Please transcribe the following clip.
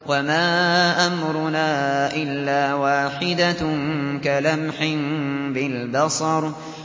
وَمَا أَمْرُنَا إِلَّا وَاحِدَةٌ كَلَمْحٍ بِالْبَصَرِ